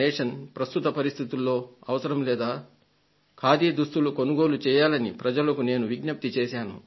ప్రస్తుత పరిస్థితులలో దీని అవసరం లేదా ఖాదీ దుస్తులు కొనుగోలు చేయండని ప్రజలకు నేను విజ్ఞప్తి చేశాను